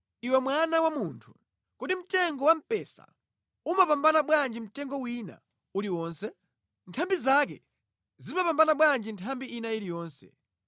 “Iwe mwana wa munthu, kodi mtengo wamphesa umapambana bwanji mtengo wina uliwonse? Nthambi zake zimapambana bwanji nthambi ina iliyonse.